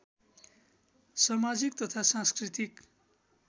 समाजिक तथा सांस्कृतिक